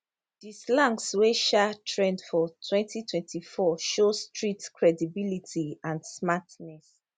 di slangs wey um trend for 2024 show street credibility and smartness